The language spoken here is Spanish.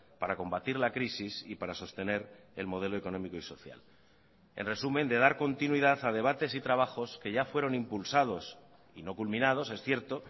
para combatir la crisis y para sostener el modelo económico y social en resumen de dar continuidad a debates y trabajos que ya fueron impulsados y no culminados es cierto